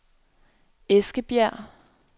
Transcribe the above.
Eskebjerg